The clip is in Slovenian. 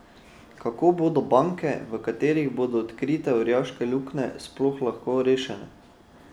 Kako bodo banke, v katerih bodo odkrite orjaške luknje, sploh lahko rešene?